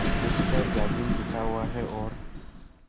जिस पर जाजिम बिछा हुआ है और